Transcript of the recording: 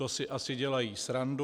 To si asi dělají srandu."